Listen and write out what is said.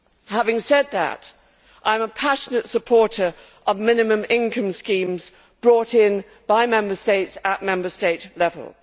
Having said that, I am a passionate supporter of minimum income schemes brought in by Member States at Member State level.